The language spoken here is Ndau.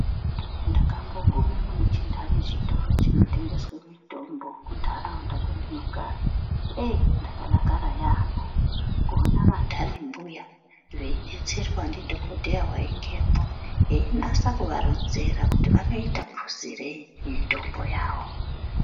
Ndakambogume mune chintani chikoro chinotengeswe mitombo kuntaraunda kwendinogara. Eeiyi ndakadakara yaampho, kuona vantani mbuya, veidetserwa ndidhokodheya waingemwo, einasa kuvaronzera kuti vanoita phuzireyi, mitombo yavo.